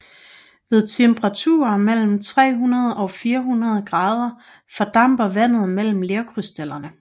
Ved temperaturer mellem 300 og 400 grader fordamper vandet mellem lerkrystallerne